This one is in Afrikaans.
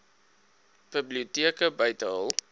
biblioteke buite hul